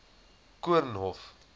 koornhof